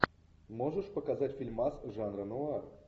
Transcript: можешь показать фильмас жанра нуар